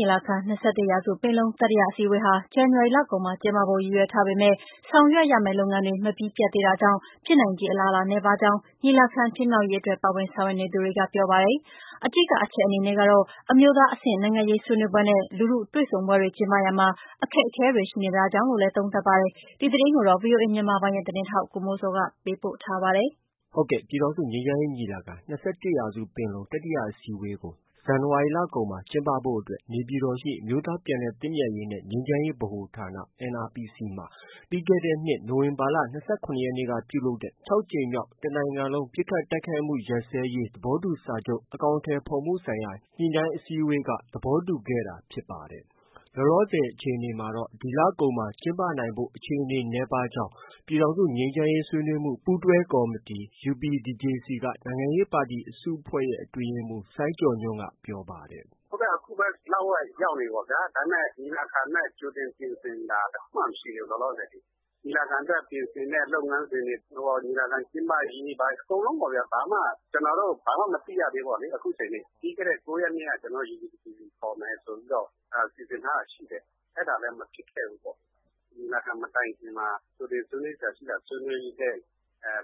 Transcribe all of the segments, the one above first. ညီလာခံ- ၂၁ရာစုပင်လုံတတိယအစည်းအဝေးဟာ ဇန်နဝါရီလကုန်မှာ ကျင်းပဖို့ ရည်ရွယ်ထားပေမဲ့ ဆောင်ရွက်ရမယ့် လုပ်ငန်းတွေ မပြီးပြတ်သေးတာကြောင့်ဖြစ်နိုင်ခြေအလားအလာ နည်းပါးကြောင်း ညီလာခံဖြစ်မြောက်ရေးအတွက် ပါဝင်ဆောင်ရွက်နေသူတွေက ပြောပါတယ်။ အဓိကအချက် အနေနဲ့ကတော့ အမျိုးသားအဆင့်နိုင်ငံရေးဆွေးနွေးပွဲနဲ့ လူထုတွေ့ဆုံပွဲတွေ ကျင်းပရာမှာ အခက်အခဲတွေ ရှိ နေတာကြောင့်လို့လည်း သုံးသပ်ပါတယ်။ ဒီသတင်းကိုတော့ ဗွီအိုအေမြန်မာပိုင်းရဲ့သတင်းထောက် ကိုမိုးဇော်က တင်ပြထားပါတယ်။ ပြည်ထောင်စုငြိမ်းချမ်းရေးညီလာခံ- ၂၁ရာစုပင်လုံတတိယအစည်းအဝေးဟာ ဇန်နဝါရီလကုန်မှာ ကျင်းပဖို့ အတွက် နေပြည်တော်ရှိ အမျိုးသားပြန်လည်သင့်မြတ်ရေးနှင့် ငြိမ်းချမ်းရေးဗဟိုဌာန (NRPC) မှာ နိုဝင်ဘာ ၂၇ ရက်ကပြုလုပ်တဲ့ တစ်နိုင်ငံလုံး ပစ်ခတ်တိုက်ခိုက်မှုရပ်စဲရေး သဘောတူစာချုပ် အကောင်အထည် ဖော်မှုဆိုင်ရာ ညှိနှိုင်းအစည်းအဝေး JICM ခြောက်ကြိမ်မြောက်အစည်းအဝေးတွင် သဘောတူညီခဲ့တာ ဖြစ်ပါ တယ်။ လောလောဆည်အခြေအနေအရ ဒီလကုန်မှာ ကျင်းပနိုင်ဖို့ အခြေအနေနည်းပါးနေကြောင်း ပြည်ထောင်စု ငြိမ်းချမ်းရေးဆွေးနွေးမှု ပူးတွဲကော်မတီ UPDJC က နိုင်ငံရေးပါတီအစုအဖွဲ့ရဲ့ အတွင်းရေးမှုး စိုင်းကျော်ညွှန့် ပြောပါတယ်။ “ အခုပဲ လဝက်ရောက်နေပြီပေါ့ဗျာ။ ဒါပေမဲ့ ညီလာခံအတွက် ကြိုတင်ပြင်ဆင်တာတခုမှ မရှိသေးဘူး။ လောလောဆည်အထိ။ ညီလာခံအတွက် ပြင်ဆင်တဲ့ လုပ်ငန်းစဉ်တွေ၊ ညီလာခံကျင်းပရေး အကုန်လုံးပေါ့ဗျာ။ ဘာမှ ကျနော်တို့ ဘာမှ မသိရသေးဘူးပေါ့ဗျာ။ အခုချိန်ထိ။ ပြီးခဲ့တဲ့ ၉ရက်နေ့က ကျနော်တို့ UPDJC ခေါ်မယ် ဆိုပြီးတော့ စီစဉ်ထားတာရှိတယ်။ အဲဒါလည်း မဖြစ်ခဲ့ဘူးပေါ့။ ညီလာခံမတိုင်ခင်မှာ ကြိုတင်ဆွေးနွေးစရာရှိတာ ဆွေးနွေးတဲ့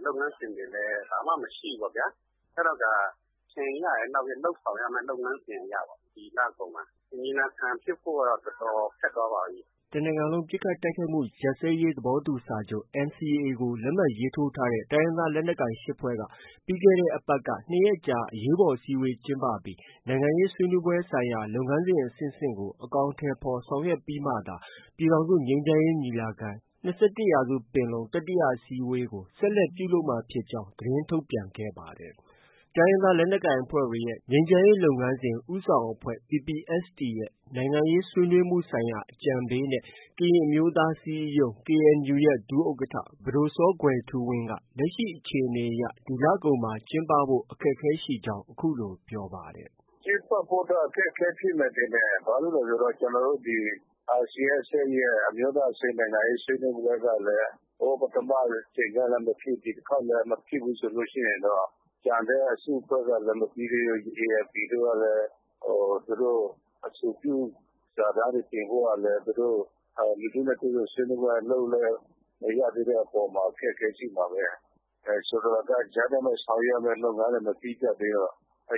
လုပ်ငန်းစဉ်တွေလည်း ဘာမှ မရှိခဲ့ဘူးပေါ့ဗျာ။ အဲတော့ကာ လုပ်ဆောင်ရမယ့် လုပ်ငန်းစဉ်အရပေါ့။ ဒီလကုန်မှာ ညီလာခံဖြစ်ဖို့က တော်တော် ခက်သွားပါပြီ။” တနိုင်ငံလုံးပစ်ခတ်တိုက်ခိုက်မှုရပ်စဲရေးသဘောတူစာချုပ် NCA ကို လက်မှတ်ရေးထိုးထားတဲ့ တိုင်းရင်းသား လက်နက်ကိုင်အဖွဲ့ ၈ဖွဲ့က ပြီးတဲ့အပတ်က ၂ရက်ကြာ အရေးပေါ်အစည်းအဝေးကျင်းပပြီး နိုင်ငံရေးဆွေးနွေးပွဲ ဆိုင်ရာလုပ်ငန်းစဉ်အဆင့်ဆင့်ကို အကောင်အထည်ဖော်ဆောင်ရွက်ပြီးမှသာ ပြည်ထောင်စုငြိမ်းချမ်းရေး ညီလာ ခံ-၂၁ရာစုပင်လုံ တတိယအစည်းအဝေးကို ဆက်လက်ပြုလုပ်မှာဖြစ်ကြောင်း သတင်းထုတ်ပြန် ခဲ့ပါတယ်။ တိုင်းရင်းသားလက်နက်ကိုင်အဖွဲ့တွေရဲ့ ငြိမ်းချမ်းရေးလုပ်ငန်းစဉ် ဦးဆောင်အဖွဲ့ PPST ရဲ့ နိုင်ငံရေး ဆွေးနွေးမှု ဆိုင်ရာ အကြံပေးနဲ့ ကရင်အမျိုးသားအစည်းအရုံး KNU ရဲ့ ဒုဥက္ကဌ ပဒိုစောကွယ်ထူးဝင်းကလည်း လက်ရှိ အခြေအနေအရ ဒီလကုန်မှာကျင်းပဖို့ ခက်ခဲကြောင်း အခုလို ပြောပါတယ်။ “ ကျင်းပဖို့ကတော့ အခက်အခဲရှိမယ်ထင်တယ်။ ဘာလို့လည်းဆိုတော့ ကျနော်တို့ ဒီ RCSSရဲ့ အမျိုးသား အဆင့် နိုင်ငံရေးဆွေးနွေးပွဲကလည်း ပထမအကြိမ်တုံးကလည်းမဖြစ် ဒီတခေါက်လည်း မဖြစ်ဆို တော့။ ကျန်တဲ့ အစုအဖွဲ့ကလည်း မပြီးသေးဘူး။ ALP တို့ကလည်း သူတို့ အဆိုပြုစာတမ်းတွေတင်ဖို့ကလည်း သူတို့ လူထုနဲ့ တွေ့ဆုံဆွေးနွေးပွဲလုပ်လည်း မရသေးတဲ့အပေါ်မှာ အခက်အခဲရှိမှာပဲ။ ဆိုလိုတာက ကြားထဲမှာ ဆောင်ရွက်ရမယ့်လုပ်ငန်းတွေ မပြီးပြတ်သေးတော့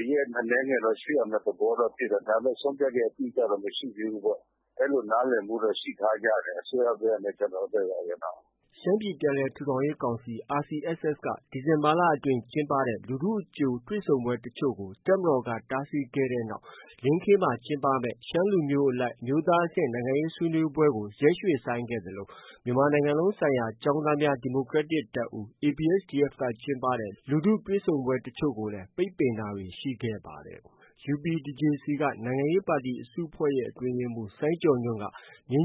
ရက်အနည်းငယ်တော့ ရွှေ့ရမယ့်သဘောတော့ ရှိတယ်။ ဒါပေမဲ့ ဆုံးဖြတ်ချက်အတိအကျတော့ မရှိသေးဘူးပေါ့။ အဲလိုနားလည်မှုတော့ ရှိထားကြတယ်။ အစိုးရဖက်နဲ့ ကျနော်တို့ ဖက်ပေါ့။ ” ရှမ်းပြည်ပြန်လည်ထူထောင်ရေးကောင်စီ RCSS က ဒီဇင်ဘာလအတွင်း ကျင်းပတဲ့လူထုအကြို တွေ့ဆုံပွဲတွေ ကို တပ်မတော်က တားဆီးခဲ့တဲ့နောက် လင်းခေးမှာ ကျင်းပမယ့် ရှမ်းလူမျိုးအလိုက် အမျိုးသားအဆင့် နိုင်ငံရေးဆွေးနွေးပွဲကို ရွှေ့ဆိုင်းခဲ့သလို မြန်မာနိုင်ငံလုံးဆိုင်ရာ ကျောင်းသားများဒီမိုကရက်တစ်တပ်ဦး ABSDF က ကျင်းပတဲ့ လူထုတွေ့ဆုံပွဲတွေကိုလည်း ပိတ်ပင်ခံခဲ့ရပါတယ်။ UPDJC က နိုင်ငံရေးပါတီအစုအဖွဲ့ရဲ့ အတွင်းရေးမှုး စိုင်းကျော်ညွှန့်က နှစ်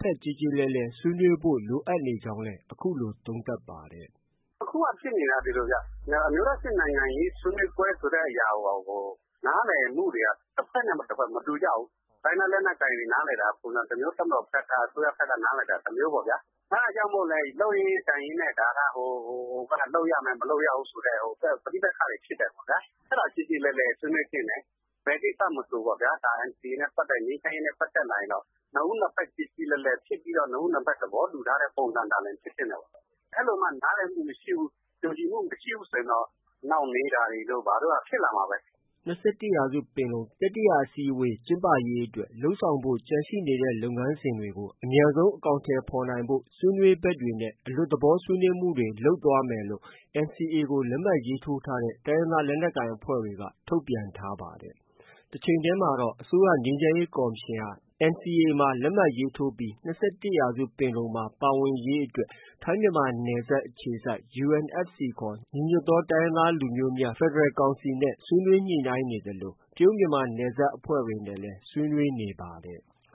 ဖက်ကျေကျေလည်လည်ဆွေးနွေးဖို့ လိုအပ်နေကြောင်းလည်း အခုလို သုံးသပ်ပါတယ်။ “ အခုက ဖြစ်နေတာက ဒီလိုဗျ။ အမျိုးသားအဆင့် နိုင်ငံရေးဆွေးနွေးပွဲဆိုတဲ့ဟာကို နားလည်မှုတွေက တဖက်နဲ့ တဖက် မတူကြဘူး။ တိုင်းရင်းသားလက်နက်ကိုင်တွေက နားလည်တာက ပုံစံတမျိုး၊ အစိုးရ၊ တပ်မတော်ဖက် က နားလည်တာက ပုံစံတမျိုး။ အဲဒါကြောင့်မို့လည်း လုပ်ရင်းကိုင်ရင်းနဲ့ လုပ်ရမယ်၊ မလုပ်ရဘူးဆိုတဲ့ ပဋိပက္ခတွေ ဖြစ်တာပေါ့ဗျာ။ အဲဒါ ကျေကျေလည်လည်ဆွေးနွေးသင့်တယ်။ ဘယ်ကိစ္စမဆိုပေါ့ဗျာ။ NCA နဲ့ ပတ်သက် လာရင် ငြိမ်းချမ်းရေးနဲ့ပတ်သက်လာရင် နှစ်ဦးနှစ်ဖက် ကျေကျေလည်လည်ဖြစ်ပြီးတော့ နှစ်ဦး နှစ်ဖက် သဘောတူထားတဲ့ ပုံစံသာလျှင်ဖြစ်သင့်တာပေါ့။ အဲလိုမှ နားလည်မှုမရှိဘူး။ ကျေလည်မှုမရှိဘူးဆိုရင် နှောင့်နှေးတာတို့ ဘာတို့က ဖြစ်လာမှာပဲ။ ” ၂၁ရာစုပင်လုံ တတိယအကြိမ်အစည်းအဝေးကျင်းပရေးအတွက် လုပ်ဆောင်ဖို့ ကျန်နေတဲ့လုပ်ငန်းစဉ်တွေကို အမြန်ဆုံး အကောင်အထည်ဖော်နိုင်ဖို့ ဆွေးနွေးဘက်တွေနဲ့ အလွတ်သဘောဆွေးနွေးမှုတွေ လုပ်သွားမယ်လို့ NCA လက်မှတ်ထိုးထားတဲ့ တိုင်းရင်းသား လက်နက်ကိုင်အဖွဲ့တွေက ထုတ်ပြန်ထားပါတယ်။ တချိန်တည်းမှာတော့ အစိုးရ ငြိမ်းချမ်းရေးကော်မရှင်ဟာ NCAမှာ ပါဝင်လက်မှတ်ရေးထိုးပြီး ၂၁ပင်လုံမှာ ပါဝင် ရေးအတွက်ထိုင်းမြန်မာနယ်စပ်အခြေစိုက် UNFC ခေါ် ညီညွတ်သော တိုင်းရင်းသား လူမျိုးများ ဖက်ဒရယ် ကောင်စီ ဆွေးနွေးညှိနှိုင်းနေသလို တရုတ်မြန်မာနယ်စပ်ခြေစိုက်အဖွဲ့တွေနဲ့လည်း ဆွေးနွေး နေပါတယ်။